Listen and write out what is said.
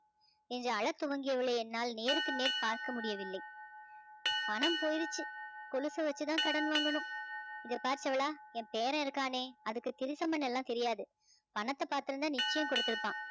என்று அழத் துவங்கியவளை என்னால் நேருக்கு நேர் பார்க்க முடியவில்லை பணம் போயிருச்சு கொழுச வச்சுத்தான் கடன் வாங்கணும் இங்க பாரு செவளா என் பேரன் இருக்கானே அதுக்கு திருஷம் பண்ண எல்லாம் தெரியாது பணத்தை பாத்திருந்தா நிச்சயம் கொடுத்திருப்பான்